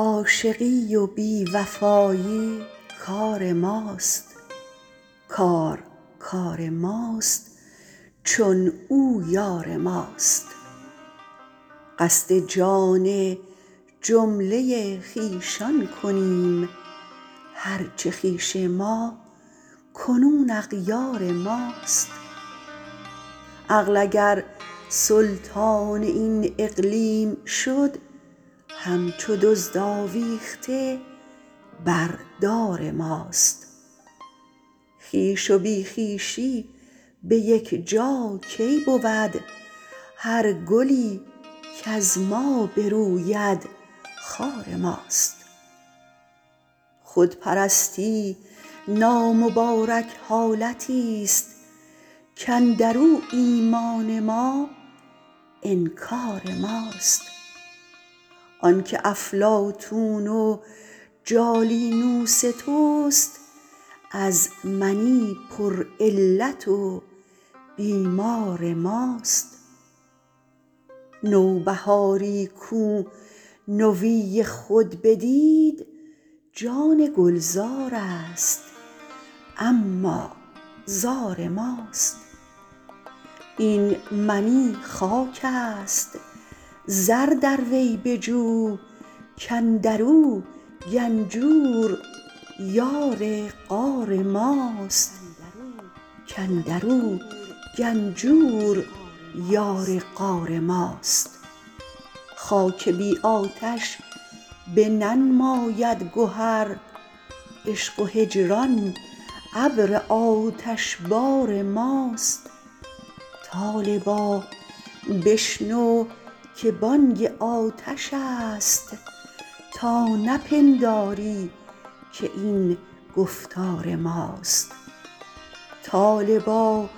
عاشقی و بی وفایی کار ماست کار کار ماست چون او یار ماست قصد جان جمله خویشان کنیم هر چه خویش ما کنون اغیار ماست عقل اگر سلطان این اقلیم شد همچو دزد آویخته بر دار ماست خویش و بی خویشی به یک جا کی بود هر گلی کز ما بروید خار ماست خودپرستی نامبارک حالتیست کاندر او ایمان ما انکار ماست آنک افلاطون و جالینوس توست از منی پرعلت و بیمار ماست نوبهاری کو نوی خود بدید جان گلزارست اما زار ماست این منی خاکست زر در وی بجو کاندر او گنجور یار غار ماست خاک بی آتش بننماید گهر عشق و هجران ابر آتشبار ماست طالبا بشنو که بانگ آتشست تا نپنداری که این گفتار ماست طالبا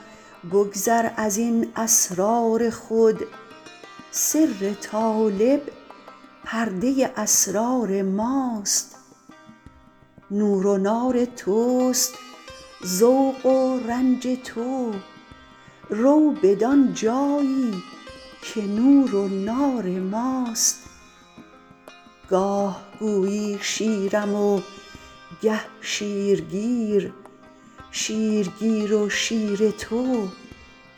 بگذر از این اسرار خود سر طالب پرده اسرار ماست نور و نار توست ذوق و رنج تو رو بدان جایی که نور و نار ماست گاه گویی شیرم و گه شیرگیر شیرگیر و شیر تو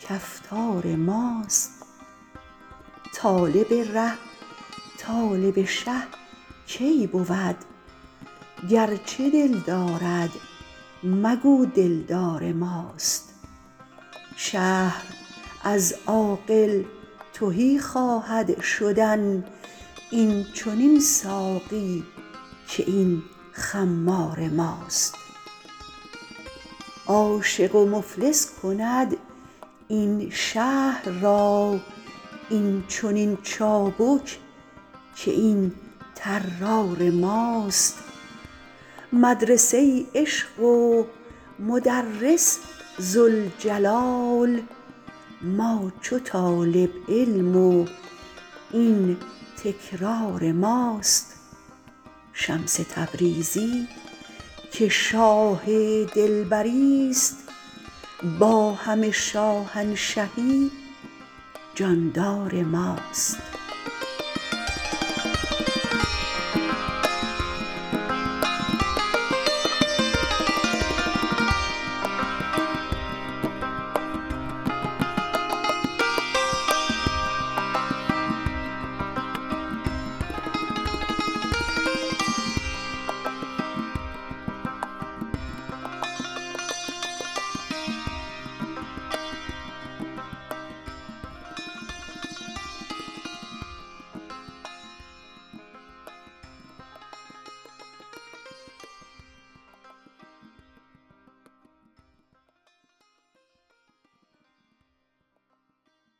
کفتار ماست طالب ره طالب شه کی بود گرچه دل دارد مگو دلدار ماست شهر از عاقل تهی خواهد شدن این چنین ساقی که این خمار ماست عاشق و مفلس کند این شهر را این چنین چابک که این طرار ماست مدرسه عشق و مدرس ذوالجلال ما چو طالب علم و این تکرار ماست شمس تبریزی که شاه دلبری ست با همه شاهنشهی جاندار ماست